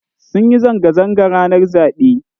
Sun yi zanga zanga ranar zaɓe